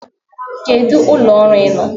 Kedu ụlọ ọrụ ị nọ?